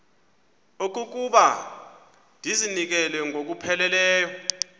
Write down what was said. okokuba ndizinikele ngokupheleleyo